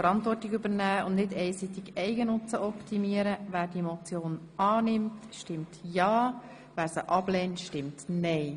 Wer diese Motion annimmt, stimmt ja, wer sie ablehnt, stimmt nein.